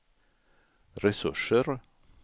resurser